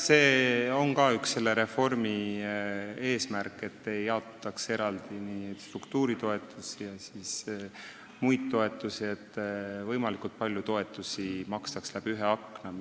See on ka selle reformi üks eesmärk, et struktuuritoetusi ja muid toetusi ei jaotataks eraldi, et võimalikult palju toetusi makstaks läbi ühe akna.